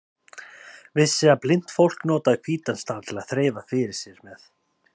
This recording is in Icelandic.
Vissi að blint fólk notaði hvítan staf til að þreifa fyrir sér með.